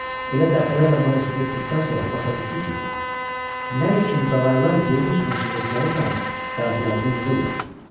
Elə dəfələrlə bu hərəkəti etdikdən sonra başa düşdü ki, nə üçün qağaylar yemin üstünə şığıdıqları zaman qanadlarını yığırlar.